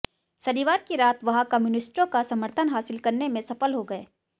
शनिवार की रात वह कम्युनिस्टों का समर्थन हासिल करने में सफल हो गए